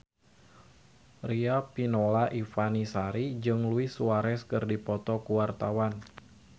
Riafinola Ifani Sari jeung Luis Suarez keur dipoto ku wartawan